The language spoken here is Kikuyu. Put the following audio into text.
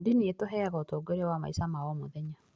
Ndini ĩtũheaga ũtongoria wa maica ma o mũthenya.